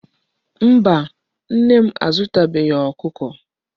Mba, Nne m azutaghi Okuko